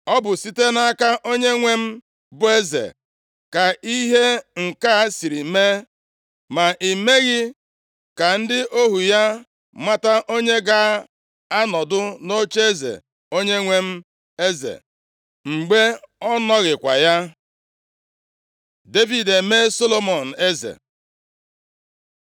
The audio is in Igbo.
Ọ bụ site nʼaka onyenwe m bụ eze ka ihe nke a siri mee, ma i meghị ka ndị ohu ya mata onye ga-anọdụ nʼocheeze onyenwe m eze, mgbe ọ nọghịkwa ya?” Devid emee Solomọn eze